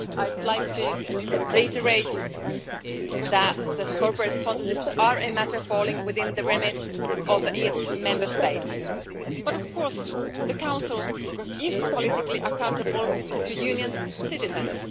I'd like to reiterate that corporate sponsorships are a matter falling within the remit of each Member State. Of course the Council is politically accountable to the Union's citizens.